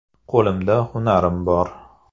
Qo‘limda hunarim bor.